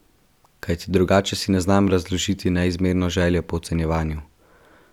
Kajti drugače si ne znam razložiti neizmerno željo po ocenjevanju !